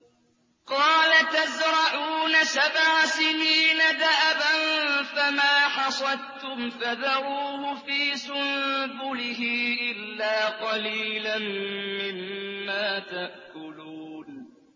قَالَ تَزْرَعُونَ سَبْعَ سِنِينَ دَأَبًا فَمَا حَصَدتُّمْ فَذَرُوهُ فِي سُنبُلِهِ إِلَّا قَلِيلًا مِّمَّا تَأْكُلُونَ